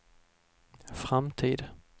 framtid